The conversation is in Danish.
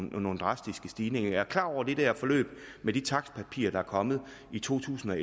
nogle drastiske stigninger jeg er klar over det der forløb med de takstpapirer der er kommet i to tusind og